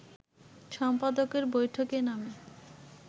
সম্পাদকের বৈঠকে নামে